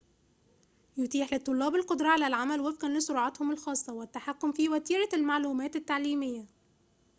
يتيح للطلاب القدرة على العمل وفقاً لسرعتهم الخاصة والتحكم في وتيرة المعلومات التعليمية